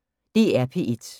DR P1